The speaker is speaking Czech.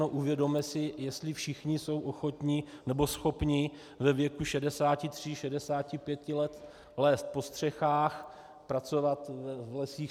No uvědomme si, jestli všichni jsou ochotni nebo schopni ve věku 63, 65 let lézt po střechách, pracovat v lesích.